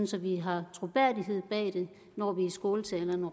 så vi har troværdighed bag det når vi i skåltalerne